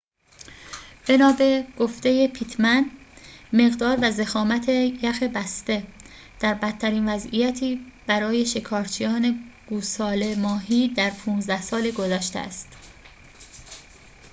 بنا به گفته پیتمن مقدار و ضخامت یخ بسته در بدترین وضعیتی برای شکارچیان گوساله ماهی در ۱۵ سال گذشته است